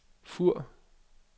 Fur